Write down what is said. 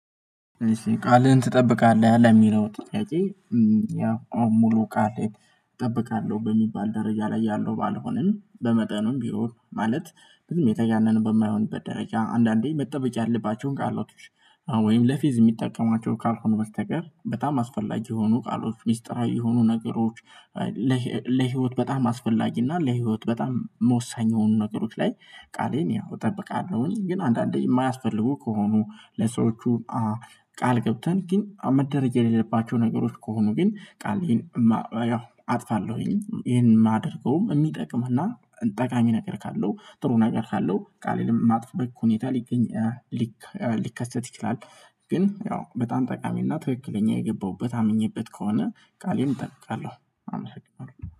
እሺ ቃልህን ትጠብቃለህ ለሚለው ጥያቄ? ያ ሙሉ ቃል ላይ እጠብቃለሁ በሚባል ደረጃ ላይ ያለው ባልሆንም በመጠኑም ቢሆን ማለት በዚህም የተጋነነ በማይሆንበት ደረጃ አንዳንዴ መጠበቅ ያለባቸውን ቃሎቶች ወይም ለፊዝ የሚጠቀሟቸው ካልሆነ በስተቀር በጣም አስፈላጊ የሆኑ ቃሎች ሚስጥራዊ የሆኑ ነገሮች። ለህይወት በጣም አስፈላጊ እና ለህይወት በጣም መወሳኛ የሆኑ ነገሮች ላይ ቃሌን ያው እጠብቃለሁኝ። ግን አንዳንዴ የማያስፈልጉ ከሆኑ ለሰዎቹ ቃል ገብተን ግን መደረግ የሌለባቸው ነገሮች ከሆኑ ግን ቃሌን አጥፋለሁኝ። ይሄን የማደርገውም የሚጠቅምና ጠቃሚ ነገር ካለው ጥሩ ነገር ካለው ቃሌን ማጥፋበት ሁኔታ ሊገኝ ሊከሰት ይችላል። ግን ያው በጣም ጠቃሚና ትክክለኛ የገባሁበት አምኜበት ከሆነ ቃሌን እጠብቃለሁ አመሰግናለሁ